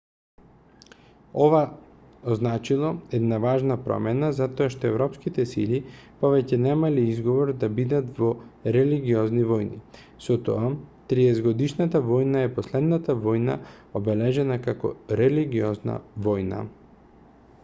ова означило една важна промена затоа што европските сили повеќе немале изговор да бидат во религиозни војни со тоа триесетгодишната војна е последната војна обележана како религиозна војна